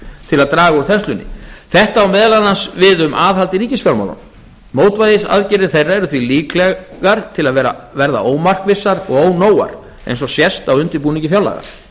til að draga úr þenslunni þetta á meðal annars við aðhald í ríkisfjármálum mótvægisaðgerðir þeirra eru því líklegar til að verða ómarkvissar og ónógar eins og sést á undirbúningi fjárlaga